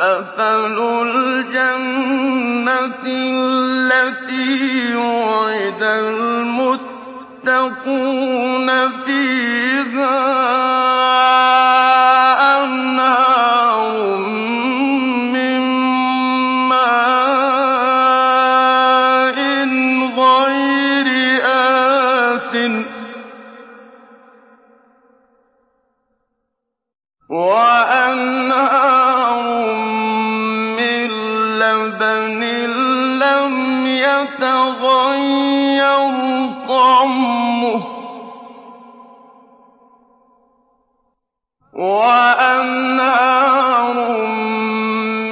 مَّثَلُ الْجَنَّةِ الَّتِي وُعِدَ الْمُتَّقُونَ ۖ فِيهَا أَنْهَارٌ مِّن مَّاءٍ غَيْرِ آسِنٍ وَأَنْهَارٌ مِّن لَّبَنٍ لَّمْ يَتَغَيَّرْ طَعْمُهُ وَأَنْهَارٌ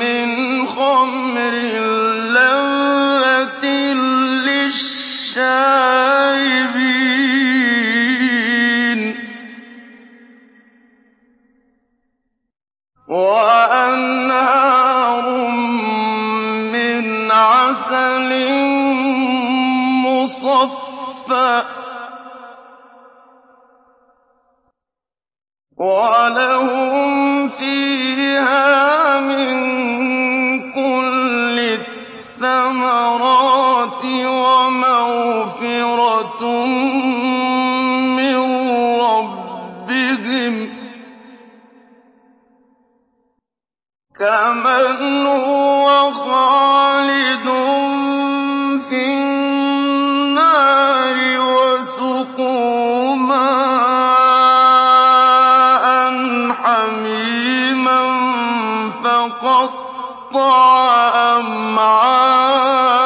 مِّنْ خَمْرٍ لَّذَّةٍ لِّلشَّارِبِينَ وَأَنْهَارٌ مِّنْ عَسَلٍ مُّصَفًّى ۖ وَلَهُمْ فِيهَا مِن كُلِّ الثَّمَرَاتِ وَمَغْفِرَةٌ مِّن رَّبِّهِمْ ۖ كَمَنْ هُوَ خَالِدٌ فِي النَّارِ وَسُقُوا مَاءً حَمِيمًا فَقَطَّعَ أَمْعَاءَهُمْ